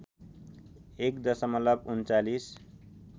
१ दशमलव ३९